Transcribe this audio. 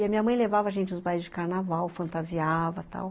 E a minha mãe levava a gente aos bailes de carnaval, fantasiava e tal.